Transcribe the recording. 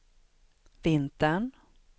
vintern